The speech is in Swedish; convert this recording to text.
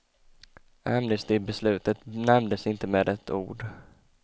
Amnestibeslutet nämndes inte med ett ord.